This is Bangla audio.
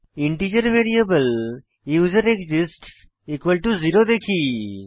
ইন্টিজার ভ্যারিয়েবল ইউজারএক্সিস্টস 0 দেখি